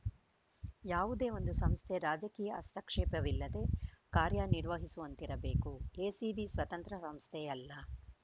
ಯಾವುದೇ ಒಂದು ಸಂಸ್ಥೆ ರಾಜಕೀಯ ಹಸ್ತಾಕ್ಷೇಪವಿಲ್ಲದೆ ಕಾರ್ಯ ನಿರ್ವಹಿಸುವಂತಿರಬೇಕು ಎಸಿಬಿ ಸ್ವತಂತ್ರ ಸಂಸ್ಥೆಯಲ್ಲ